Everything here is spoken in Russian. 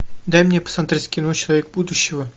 дай мне посмотреть кино человек будущего